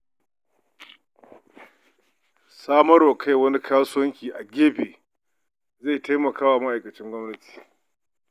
Samawar kai wani kasuwanci a gefe zai taimaka wa ma'aikacin gwamnati.